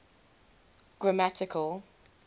grammatical